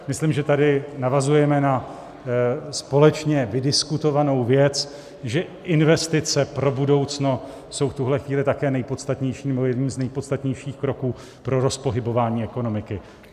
Myslím, že tady navazujeme na společně vydiskutovanou věc, že investice pro budoucno jsou v tuhle chvíli také nejpodstatnějším, nebo jedním z nejpodstatnějších kroků pro rozpohybování ekonomiky.